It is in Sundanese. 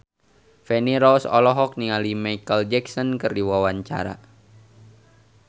Feni Rose olohok ningali Micheal Jackson keur diwawancara